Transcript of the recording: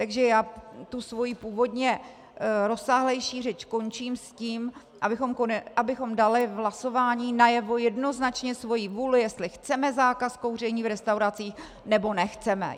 Takže já tu svoji původně rozsáhlejší řeč končím s tím, abychom dali v hlasování najevo jednoznačně svoji vůli, jestli chceme zákaz kouření v restauracích, nebo nechceme.